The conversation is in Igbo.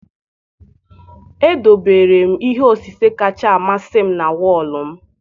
Edobere m ihe osise kacha amasị m na wọọlụ m.